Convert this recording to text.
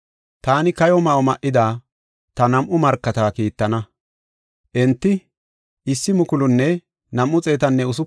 Taani kayo ma7o ma7ida ta nam7u markata kiittana; enti 1,260 gallas tinbite odana” yaagis.